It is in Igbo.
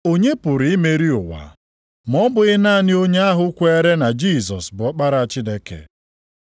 Onye pụrụ imeri ụwa, ma ọ bụghị naanị onye ahụ kweere na Jisọs bụ Ọkpara Chineke?